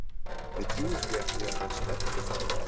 Ég trúi því ekki að hann sé hræddur við það.